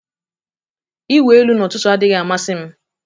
Ịwụ elu n'ụtụtụ adịghị amasị m